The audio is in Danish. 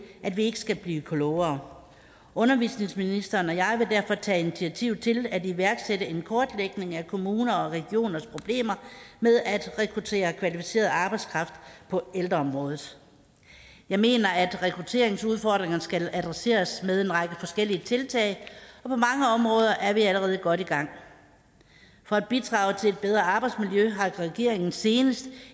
at vi ikke skal blive klogere undervisningsministeren og jeg vil derfor tage initiativ til at iværksætte en kortlægning af kommuner og regioners problemer med at rekruttere kvalificeret arbejdskraft på ældreområdet jeg mener at rekrutteringsudfordringerne skal adresseres med en række forskellige tiltag og på mange områder er vi allerede godt i gang for at bidrage til et bedre arbejdsmiljø har regeringen senest